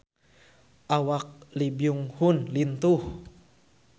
Awak Lee Byung Hun lintuh